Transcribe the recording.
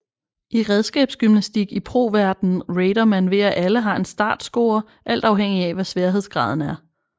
I redskabsgymnastik i pro verdenen rater man ved at alle har en startscore alt afhængigt af hvad sværhedsgraden var